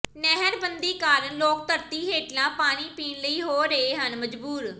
ਨਹਿਰ ਬੰਦੀ ਕਾਰਨ ਲੋਕ ਧਰਤੀ ਹੇਠਲਾ ਪਾਣੀ ਪੀਣ ਲਈ ਹੋ ਰਹੇ ਹਨ ਮਜਬੂਰ